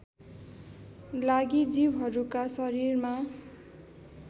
लागि जीवहरूका शरीरमा